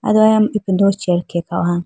ay do aya ipindo chair khenge kha howa.